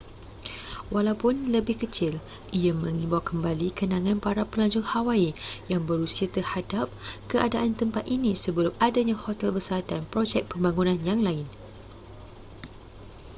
walaupun lebih kecil ia mengimbau kembali kenangan para pelancong hawaii yang berusia terhadap keadaan tempat ini sebelum adanya hotel besar dan projek pembangunan yang lain